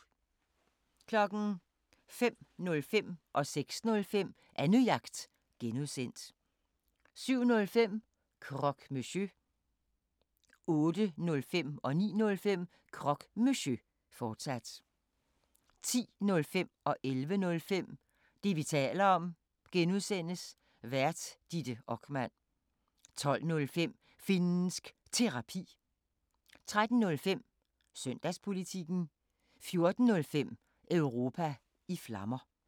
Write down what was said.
05:05: Annejagt (G) 06:05: Annejagt (G) 07:05: Croque Monsieur 08:05: Croque Monsieur, fortsat 09:05: Croque Monsieur, fortsat 10:05: Det, vi taler om (G) Vært: Ditte Okman 11:05: Det, vi taler om (G) Vært: Ditte Okman 12:05: Finnsk Terapi 13:05: Søndagspolitikken 14:05: Europa i Flammer